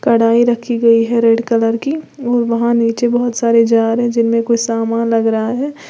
कढ़ाई रखी गई है रेड कलर की व वहां नीचे बहुत सारे जार हैं जिनमें कोई समान लग रहा है।